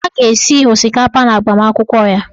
A ga-esi osikapa n'agbamakwụkwọ ya.